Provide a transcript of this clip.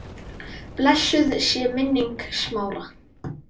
Blessuð sé minning Smára.